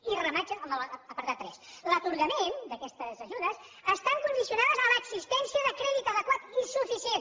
i remata amb l’apartat tres l’atorgament d’aquestes ajudes està condicionat a l’existència de crèdit adequat i suficient